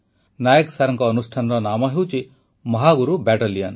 ନାଏକ ସାର୍ଙ୍କ ଅନୁଷ୍ଠାନର ନାମ ହେଉଛି ମହାଗୁରୁ ବାଟାଲିଅନ୍